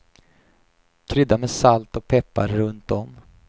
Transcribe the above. Krydda med salt och peppar runt om.